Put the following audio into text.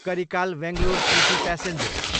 Karikala, Bangalore city passenger